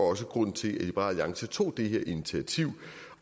også grund til at liberal alliance tog det her initiativ